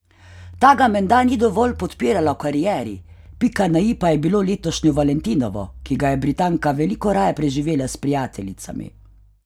Ta ga menda ni dovolj podpirala v karieri, pika na i pa je bilo letošnje valentinovo, ki ga je Britanka veliko raje preživela s prijateljicami.